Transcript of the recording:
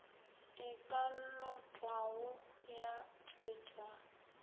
e ka lotwago ya tšwetšwa